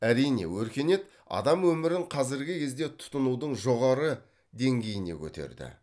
әрине өркениет адам өмірін қазіргі кезде тұтынудың жоғары деңгейіне көтерді